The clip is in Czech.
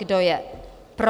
Kdo je pro?